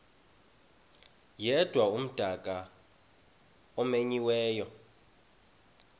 yedwa umdaka omenyiweyo